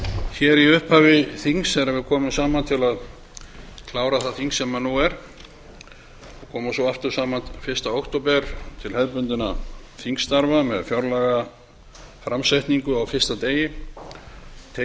í upphafi þings þegar við komum saman til að klára það þing sem nú er og komum svo saman aftur fyrsta október til hefðbundinna þingstarfa með fjárlagaframsetningu á fyrsta degi tekjuöflunarfrumvarpi